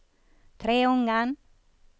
Treungen